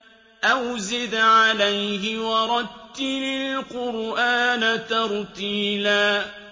أَوْ زِدْ عَلَيْهِ وَرَتِّلِ الْقُرْآنَ تَرْتِيلًا